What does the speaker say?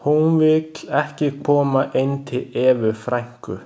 Hún vill ekki koma inn til Evu frænku.